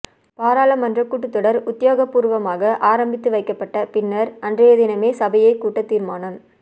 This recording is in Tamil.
பாராளுமன்ற கூட்டத்தொடர் உத்தியோகபூர்வமாக ஆரம்பித்து வைக்கப்பட்ட பின்னர் அன்றையதினமே சபையைக் கூட்ட தீர்மானம்